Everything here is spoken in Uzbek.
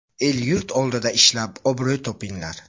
El-yurt oldida ishlab obro‘ topinglar.